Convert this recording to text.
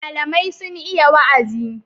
Malamai sun iya wa'azi.